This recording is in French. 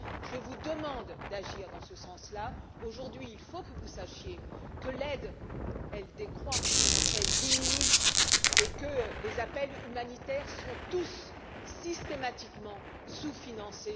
Je vous demande d'agir dans ce sens là. Aujourd'hui, il faut que vous sachiez que l'aide décroît, qu'elle diminue et que tous les besoins humanitaires en Syrie sont systématiquement sous financés.